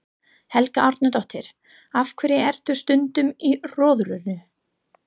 Helga Arnardóttir: Af hverju ert þú stundum í Rjóðrinu?